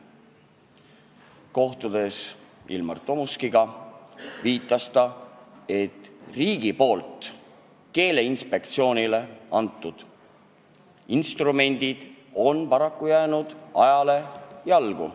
Kui kohtusime Ilmar Tomuskiga, siis viitas ta, et riigi poolt Keeleinspektsioonile antud instrumendid on paraku ajale jalgu jäänud.